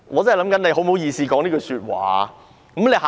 她怎麼好意思說這句話呢？